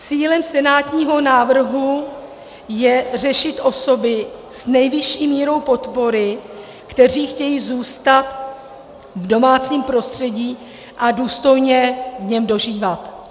Cílem senátního návrhu je řešit osoby s nejvyšší mírou podpory, které chtějí zůstat v domácím prostředí a důstojně v něm dožívat.